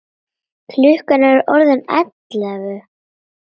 Klukkan er orðin ellefu.